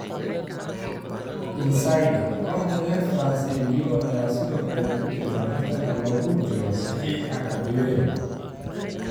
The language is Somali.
(Insider) Kooxda reer France ee Lyon ayaa sidoo kale ku jirta tartanka loogu jiro saxiixa Kadewere.